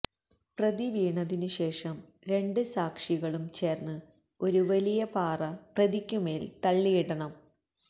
പ്രതി വീണതിനു ശേഷം രണ്ട് സാക്ഷികളും ചേർന്ന് ഒരു വലിയ പാറ പ്രതിക്കുമേൽ തള്ളിയിടണം